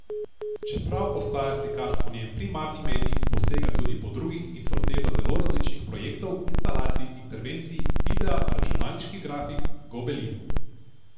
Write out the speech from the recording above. Čeprav ostaja slikarstvo njen primarni medij, posega tudi po drugih in se loteva zelo različnih projektov, instalacij, intervencij, videa, računalniških grafik, gobelinov.